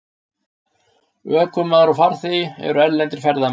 Ökumaður og farþegi eru erlendir ferðamenn